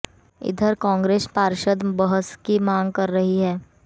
इधर कांग्रेस पार्षद बहस की मांग कर रहे थे